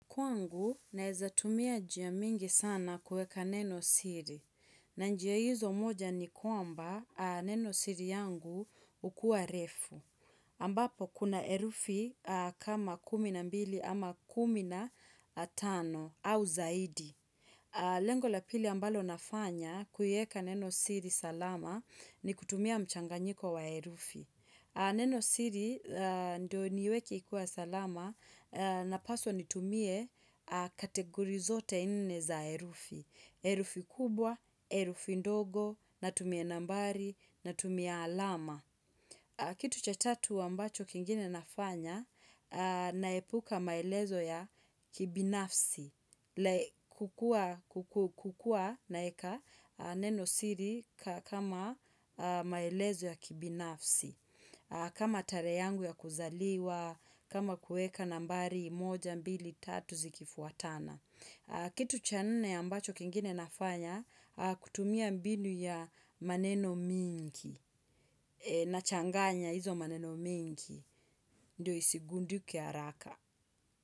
Kwangu, naezatumia njia mingi sana kueka neno siri. Na njia hizo moja ni kwamba neno siri yangu hukuwa refu. Ambapo, kuna herufi kama kumi na mbili ama kumi na tano au zaidi. Lengo la pili ambalo nafanya kuieka neno siri salama ni kutumia mchanganyiko wa herufi. Neno siri ndo nieweke ikiwa salama napaswa nitumie kategori zote nne za herufi. Herufi kubwa, herufi ndogo, natumia nambari, natumia alama. Kitu cha tatu ambacho kingine nafanya naepuka maelezo ya kibinafsi. Hukua naeka neno siri kama maelezo ya kibinafsi. Kama tarehe yangu ya kuzaliwa, kama kueka nambari moja, mbili, tatu, zikifuatana. Kitu cha nne ambacho kingine nafanya, kutumia mbinu ya maneno mingi, na changanya hizo maneno mingi, ndio isigundike haraka.